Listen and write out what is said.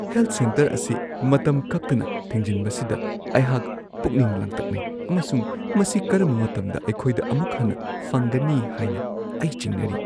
Health centre ꯑꯁꯤ ꯃꯇꯝ ꯀꯛꯇꯅ ꯊꯤꯡꯖꯤꯟꯕꯁꯤꯗ ꯑꯩꯍꯥꯛ ꯄꯨꯛꯅꯤꯡ ꯂꯥꯡꯇꯛꯅꯩ ꯑꯃꯁꯨꯡ ꯃꯁꯤ ꯀꯔꯝꯕ ꯃꯇꯝꯗ ꯑꯩꯈꯣꯏꯗ ꯑꯃꯨꯛ ꯍꯟꯅ ꯐꯪꯒꯅꯤ ꯍꯥꯏꯅ ꯑꯩ ꯆꯤꯡꯅꯔꯤ꯫